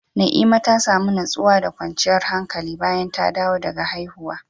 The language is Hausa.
Na'ima ta samu nutsuwa da kwanciyar hankali bayan ta dawo daga haihuwa.